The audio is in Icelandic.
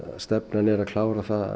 stefnan er að klára það